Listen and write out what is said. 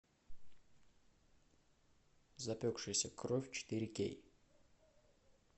запекшаяся кровь четыре кей